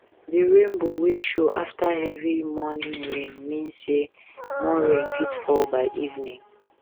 the rainbow wey show after heavy morning rain mean say more rain fit fall by evening